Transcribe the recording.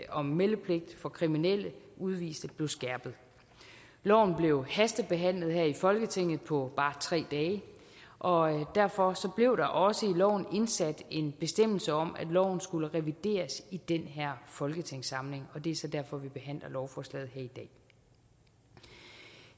om meldepligt for kriminelle udviste blev skærpet loven blev hastebehandlet her i folketinget på bare tre dage og derfor blev der også i loven indsat en bestemmelse om at loven skulle revideres i den her folketingssamling det er så derfor vi behandler lovforslaget her i dag